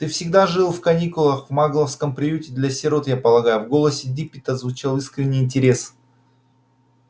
ты всегда жил в каникулах в магловском приюте для сирот я полагаю в голосе диппета звучал искренний интерес